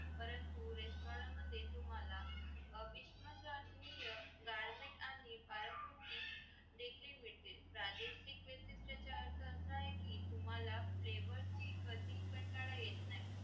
परंतु restaurant मध्ये तुम्हाला विस्मरणीय garment आणि पालक कृती देखील मिळतील प्रादेशिक विशिष्ट असा आहे की तुम्हाला flavour चे कधी कंटाळा येत नाही